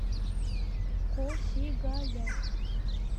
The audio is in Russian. косигая